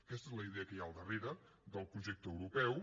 aquesta és la idea que hi ha al darrere del projecte europeu